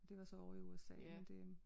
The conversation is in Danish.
Det var så ovre i USA men det